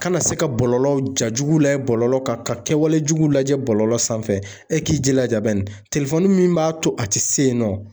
Kana se ka bɔlɔlɔw, ja jugu lajɛ bɔlɔlɔ kan, ka kɛwale jugu lajɛ bɔlɔlɔ sanfɛ, e k'i jilaja min b'a to a ti se yen nɔ.